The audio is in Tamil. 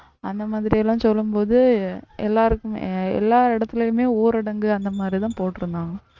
அந்த மாதிரி எல்லாம் சொல்லும் போது எல்லாருக்குமே எல்லா இடத்துலயுமே ஊரடங்கு அந்த மாதிரிதான் போட்டிருந்தாங்க